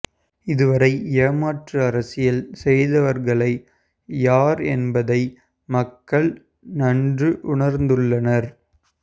இதுவரை ஏமாற்று அரசியல் செய்தவர்களை் யார் என்பதை மக்கள் நன்று உணர்ந்துள்ளனர்